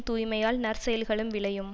தூய்மையால் நற்செயல்களும் விளையும்